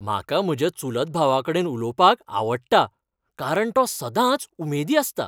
म्हाका म्हज्या चुलतभावाकडेन उलोवपाक आवडटा कारण तो सदांच उमेदी आसता.